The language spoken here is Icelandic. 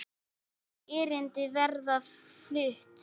Fjögur erindi verða flutt.